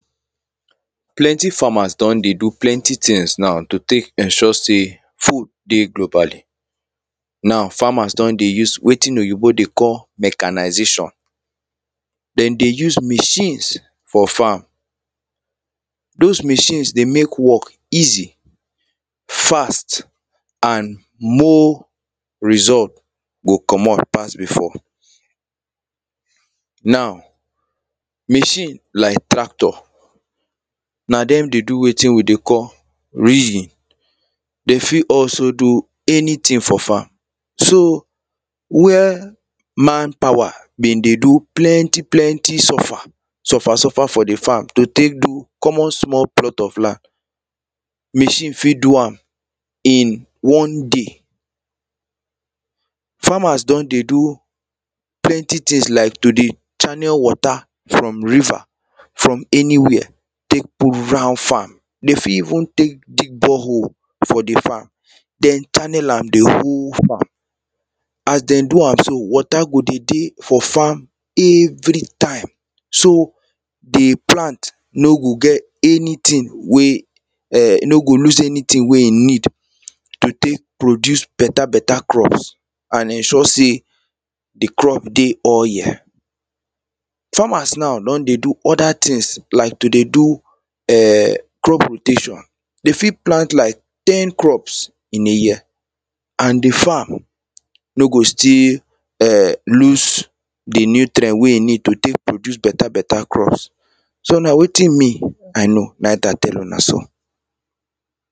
plenty farmers do?n dey do plenty things now to take ensure say food dey globally now farmers do?n dey use wetin oyibo dey call mechanization they dey use machines for farm those machines dey make work easy fast and more result go co?mo?t pass before now machine like tractor na them dey do wetin we dey call ridging they fit also do anything for farm so where manpower been dey do plenty plenty suffer suffer suffer for the farm to take do common small plot of land machine fit do am in one day farmers do?n dey do plenty things like to dey channel water from river from anywhere take put round farm they fit even take dig borehole for the farm then channel am the whole farm as they do am so water go dey dey for farm everytime so the plant no go get anything wey e?n no go lose anything wey e need to take produce better better crops and ensure say "the crop dey o?ye? farmers now do?n dey do other things like to dey do e?n crop rotation they fit plant like ten crops in a year and the farm no go still e?n lose the nutrient wey e need to take produce better better crops so now wetin me i know na im i tell una so